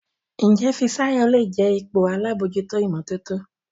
Njé Fisayo lẹ jé ipò àlabòjuto imototo?